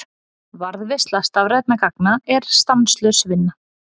Varðveisla stafrænna gagna er stanslaus vinna.